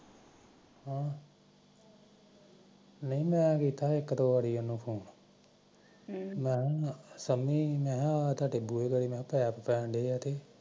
ਨਹੀਂ ਮੈ ਕੀਤਾ ਸੀ ਇੱਕ ਦੋ ਵਾਰੀ ਆਹ ਤੁਹਾਡੇ ਬਾਰੇ ਫੋਨ ਸ਼ਮੀ ਪੈਪ ਪੈਣਡੇ ਐ